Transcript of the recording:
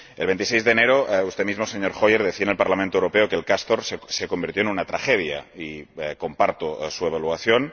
El 26 de enero usted mismo, señor Hoyer, decía en el Parlamento Europeo que el proyecto Castor se convirtió en una tragedia y comparto su evaluación.